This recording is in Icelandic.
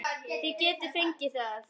Þið getið fengið hann